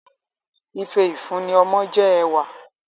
Ife ifunni ọmọ jẹ ẹwà